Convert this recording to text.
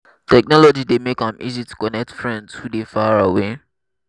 technology dey make am easy to connect friends who dey far away.